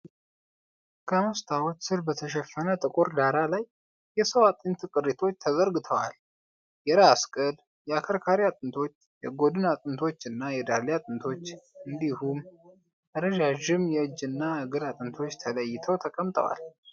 ከመስተዋት ስር በተሸፈነ ጥቁር ዳራ ላይ፣ የሰው የአጥንት ቅሪቶች ተዘርግተዏል። የራስ ቅል፣ የአከርካሪ አጥንቶች፣ የጎድን አጥንቶች እና የዳሌ አጥንቶች እንዲሁም ረዣዥም የእጅና እግር አጥንቶች ተለይተው ተቀምጠዋል።